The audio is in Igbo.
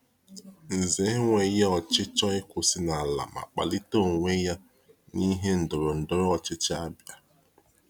Ǹzè enweghị ọchịchọ ịkwụsị n’ala ma kpalite onwe ya n’ihe ndọrọndọrọ ọchịchị Ȧbịa.